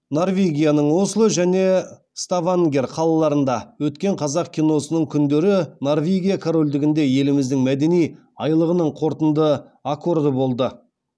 норвегияның осло және ставангер қалаларында өткен қазақ киносының күндері норвегия корольдігінде еліміздің мәдени айлығының қорытынды аккорды болды